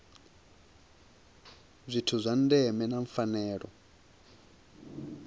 zwithu zwa ndeme na pfanelo